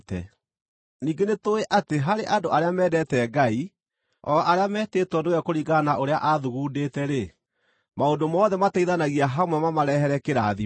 Ningĩ nĩtũũĩ atĩ harĩ andũ arĩa mendete Ngai, o arĩa metĩtwo nĩwe kũringana na ũrĩa aathugundĩte-rĩ, maũndũ mothe mateithanagia hamwe mamarehere kĩrathimo.